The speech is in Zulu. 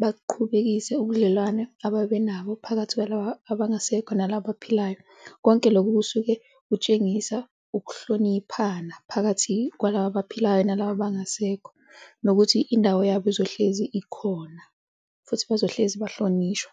baqhubekise ubudlelwane abebenabo phakathi kwalaba abangasekho nalaba abaphilayo. Konke lokho kusuke kutshengisa ukuhloniphana phakathi kwalaba abaphilayo nalaba abangasekho nokuthi indawo yabo izohlezi ikhona futhi bazohlezi bahlonishwa.